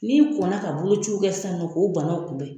Ni kɔnna ka bolociw kɛ sisan nɔ k'o banaw kunbɛn